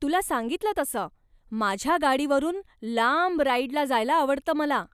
तुला सांगितलं तसं, माझ्या गाडीवरून लांब राईडला जायला आवडतं मला.